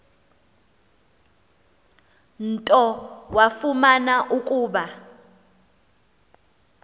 nto wafumana ukuba